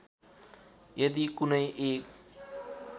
यदि कुनै एक